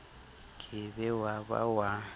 ke be wa ba wa